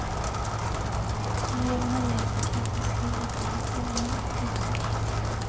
Eleverna hjälper knappast till att hålla skolan i hyfsat skick.